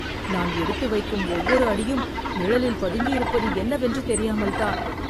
நான் எடுத்து வைக்கும் ஒவ்வொரு அடியும் நிழலில் பதுங்கியிருப்பது என்னவென்று தெரியாமல் தான்